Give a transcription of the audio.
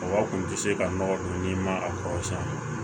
Mɔgɔ tun tɛ se ka nɔgɔ don ni ma a kɔrɔsiɲɛ